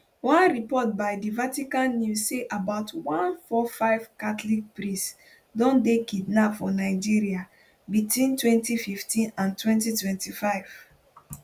onereportby di vatican news say about 145 catholic priests don dey kidnapped for nigeria between 2015 and 2025